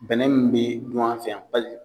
Bɛnɛ min bɛ dun an fɛ yan